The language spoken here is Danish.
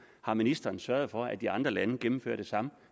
har ministeren sørget for at de andre lande gennemfører det samme